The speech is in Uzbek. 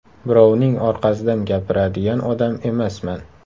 Birovning orqasidan gapiradigan odam emasman.